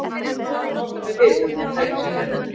Ég bað hann að láta mig vita, hvað hann tæki sér fyrir hendur.